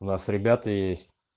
у нас ребята есть